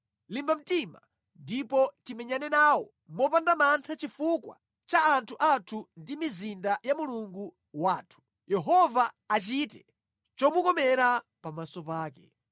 Limba mtima ndipo timenyane nawo mopanda mantha chifukwa cha anthu athu ndi mizinda ya Mulungu wathu. Yehova achite chomukomera pamaso pake.”